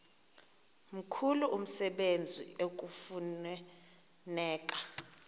mkhulu umsebenzi ekufuneka